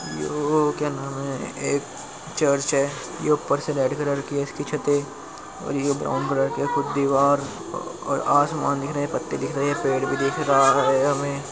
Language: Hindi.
यो के क्या नाम है एक चर्च है । यो ऊपर से रेड कलर कि है इसकी छते और ये ब्राउन कलर कि कुछ दीवार और आसमान दिख रहा है। पत्ते दिख रहे पेड़ भी दिख रहा है हमें --